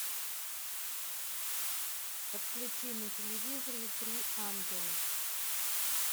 подключи на телевизоре три ангела